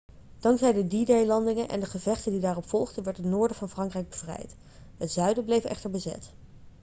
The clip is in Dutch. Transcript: dankzij de d-day-landingen en de gevechten die daarop volgden werd het noorden van frankrijk bevrijd het zuiden bleef echter bezet